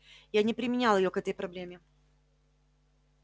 я не применял её к этой проблеме